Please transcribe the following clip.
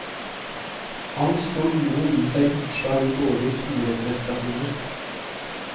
Angst og uro gir seg utslag i dårlige skoleprestasjoner.